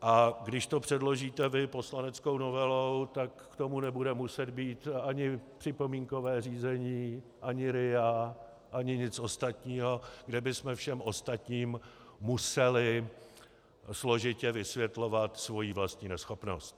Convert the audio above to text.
A když to předložíte vy poslaneckou novelou, tak k tomu nebude muset být ani připomínkové řízení, ani RIA, ani nic ostatního, kde bychom všem ostatním museli složitě vysvětlovat svoji vlastní neschopnost.